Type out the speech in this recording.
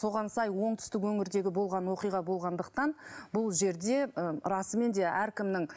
соған сай оңтүстік өңірдегі болған оқиға болғандықтан бұл жерде ы расымен де әркімнің